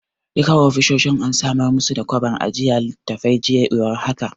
Duka ofisoshin an samar musu da kwabar saka littattafai, jiya ya war haka.